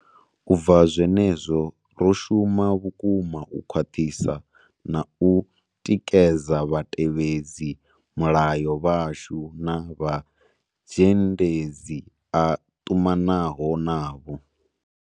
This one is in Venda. U bva zwenezwo, ro shuma vhukuma u khwaṱhisa na u tikedza vhatevhedzi mulayo vhashu na vha mazhendedzi a ṱumanaho navho.